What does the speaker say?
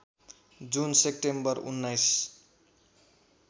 जुन सेप्टेम्बर १९